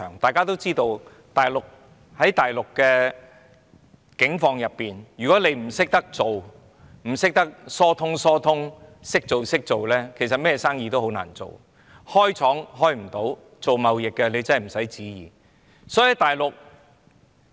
大家都知道大陸的境況，如果不懂做人，不懂疏通的話，其實任何生意也很難做，要開設工廠或做貿易生意都會很困難。